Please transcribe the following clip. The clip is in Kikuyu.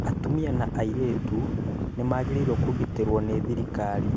Atumia na airĩtu nĩmagĩrĩirwo kũgitĩrwo nĩ thirikari